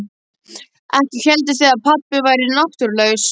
Ekki hélduð þið að pabbi væri náttúrulaus?